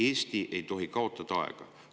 Eesti ei tohi kaotada aega.